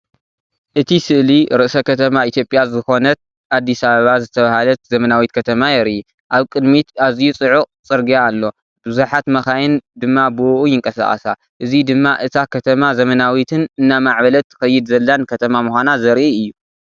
እቲ ስእሊ ርእሰ ከተማ ኢትዮጵያ ዝኾነት ኣዲስ ኣበባ ዝተባህለት ዘመናዊት ከተማ የርኢ። ኣብ ቅድሚት ኣዝዩ ጽዑቕ ጽርግያ ኣሎ፡ ብዙሓት መካይን ድማ ብእኡ ይንቀሳቐሳ። እዚ ድማ እታ ከተማ ዘመናዊትን እናማዕበለት ትኸይድ ዘላን ከተማ ምዃና ዘርኢ እዩ።